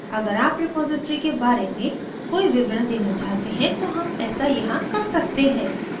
अगर आप रेपॉसिटरी के बारे में कोई विवरण देना चाहते हैं तो हम ऐसा यहाँ कर सकते हैं